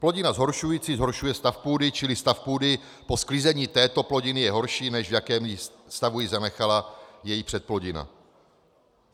Plodina zhoršující zhoršuje stav půdy, čili stav půdy po sklizení této plodiny je horší, než v jakém stavu ji zanechala její předplodina.